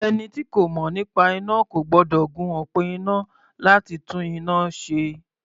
Ẹni tí kò mọ̀ nípa iná kò gbọ́dọ̀ gun òpó iná láti tún iná ṣe.